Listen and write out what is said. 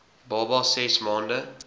baba ses maande